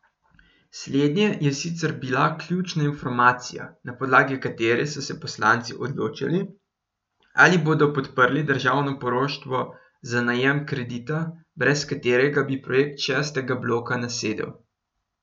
Slednje je sicer bila ključna informacija, na podlagi katere so se poslanci odločali, ali bodo podprli državno poroštvo za najem kredita, brez katerega bi projekt šestega bloka nasedel.